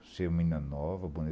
Você é menina nova, bonita.